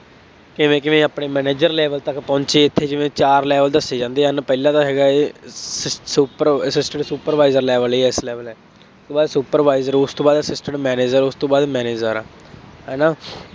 ਕਿਵੇਂ ਕਿਵੇਂ ਆਪਣੇ manager level ਤੱਕ ਪਹੁੰਚੇ ਅਤੇ ਜਿਵੇਂ ਚਾਰ level ਦੱਸੇ ਜਾਂਦੇ ਹਨ। ਪਹਿਲਾ ਤਾਂ ਹੈਗਾ ਹੈ ਸ as is assistant supervisor level A ਇਸ level ਉਸ ਤੋਂ ਬਾਅਦ supervisor, ਉਸ ਤੋਂ ਬਾਅਦ assistant manager ਉਸ ਤੋਂ ਬਾਅਦ manager ਹੈ ਨਾ